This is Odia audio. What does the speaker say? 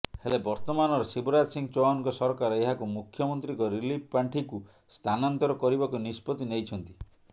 ହେଲେ ବର୍ତ୍ତମାନର ଶିବରାଜ ସିଂହ ଚୌହାନଙ୍କ ସରକାର ଏହାକୁ ମୁଖ୍ୟମନ୍ତ୍ରୀଙ୍କ ରିଲିଫ୍ ପାଣ୍ଠିକୁ ସ୍ଥାନାନ୍ତର କରିବାକୁ ନିଷ୍ପତ୍ତି ନେଇଛନ୍ତି